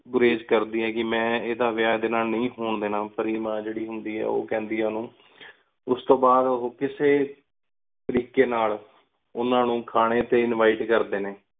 ਘੁਇਜ਼ ਕਰ ਦੀ ਆਯ ਕੀ ਮੈਂ ਏਡਾ ਵਇਆ ਏਡੀ ਨਾਲ ਨੀ ਹੁਣ ਦੇਣਾ, ਪਾਰੀ ਮਾਨ ਜੀਰੀ ਹੁੰਦੀ ਓ ਕਹਿੰਦੀ ਆ ਉਨੂ। ਉਸ ਤੂੰ ਬਾਦ ਓ ਕਿਸੀ ਤਰੀਕੇ ਨਾਲ ਉਨਾ ਨੂੰ ਖਾਣੇ ਤੇ invite ਕਰਦੇ ਨੇ